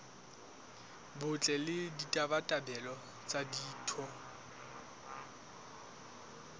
botle le ditabatabelo tsa ditho